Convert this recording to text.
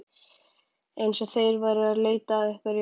Eins og þeir væru að leita að einhverju.